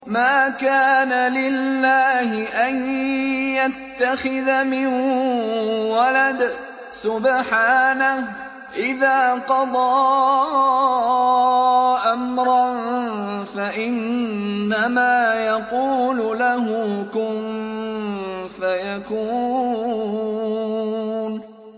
مَا كَانَ لِلَّهِ أَن يَتَّخِذَ مِن وَلَدٍ ۖ سُبْحَانَهُ ۚ إِذَا قَضَىٰ أَمْرًا فَإِنَّمَا يَقُولُ لَهُ كُن فَيَكُونُ